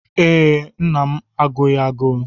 Ee, nna m agụghị agụụ.